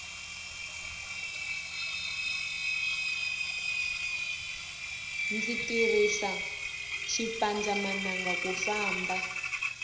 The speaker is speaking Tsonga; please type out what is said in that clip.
ndzi tirisa xipandza mananga ku famba